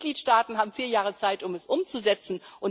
Die Mitgliedstaaten haben vier Jahre Zeit, um es umzusetzen.